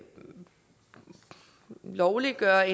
man lovliggør